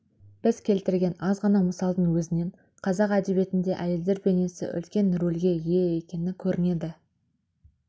біз келтірген аз ғана мысалдың өзінен қазақ әдебиетінде әйелдер бейнесі үлкен рөлге ие екені көрінеді ал